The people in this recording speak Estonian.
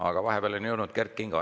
Aga vahepeal on saali jõudnud Kert Kingo.